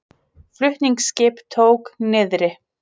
Flutningaskip tók niðri